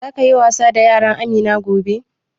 Za ka yi wasa da yaran Amina gobe?